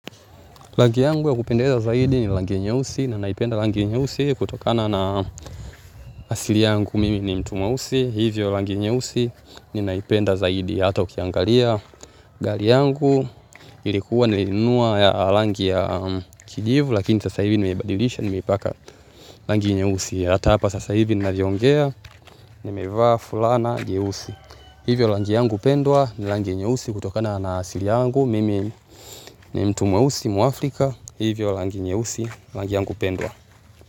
Rangi yangu ya kupendeza zaidi ni rangi nyeusi na naipenda rangi nyeusi kutokana na asili yangu, mimi ni mtu mweusi. Hivyo rangi nyeusi ninaipenda zaidi hata ukiangalia. Gari yangu ilikuwa nilinunua rangi ya kijivu lakini sasa hivi nimebadilisha nimeipaka rangi nyeusi. Hata hapa sasa hivi ninavyoongea nimevaa fulana nyeusi. Hivyo rangi yangu pendwa ni rangi nyeusi kutokana na asili yangu mimi ni mtu mweusi mwafrika. Hivyo rangi nyeusi, rangi yangu pendwa.